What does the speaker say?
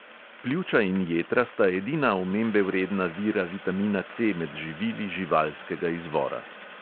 Pljuča in jetra sta edina omembe vredna vira vitamina C med živili živalskega izvora.